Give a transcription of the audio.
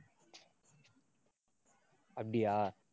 அப்படியா